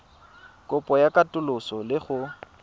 kopo ya katoloso le go